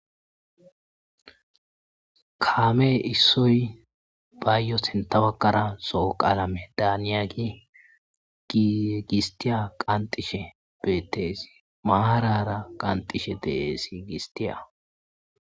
Kameyi issoyi dessi sinitha baggara zo'o qalame daniya qanixeyis bettesi bettesi marara qanixid dessi